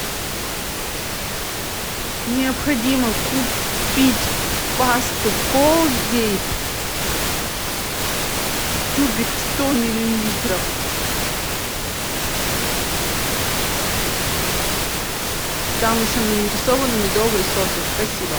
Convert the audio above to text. необходимо купить пасту колгейт тюбик сто миллилитров там еще нарисованы медовые соты спасибо